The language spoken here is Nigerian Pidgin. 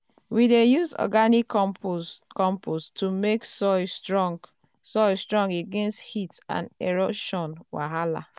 we dey use organic compost to make soil strong soil strong against heat and erosion wahala.